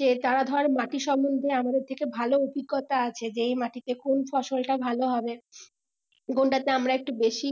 যে তারা ধর মাটি সম্বন্ধে আমাদের থেকে ভালো অভিজ্ঞতা আছে যে এই মাটিতে কোন ফসলটা ভালো হবে কোনটাতে আমরা একটু বেশি